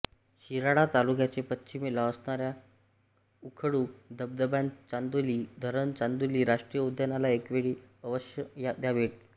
शिराळा तालुक्याच्या पश्चिमेला असणाऱ्या उखळू धबधबाचांदोली धरण चांदोली राष्ट्रीय उद्यानाला एकवेळ अवश्य द्या भेट